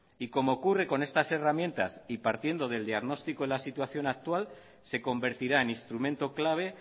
y como ocurre con estas herramientas y partiendo del diagnóstico en la situación actual se convertirá en instrumento clave